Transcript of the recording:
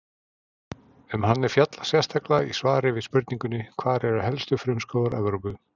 Um hann er fjallað sérstaklega í svari við spurningunni Hvar eru helstu frumskógar Evrópu?